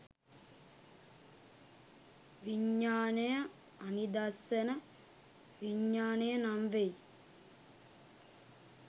විඤ්ඤාණය අනිදස්සන විඤ්ඤාණය නම් වෙයි.